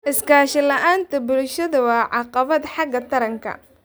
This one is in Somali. Iskaashi la'aan bulsho waa caqabad xagga taranka.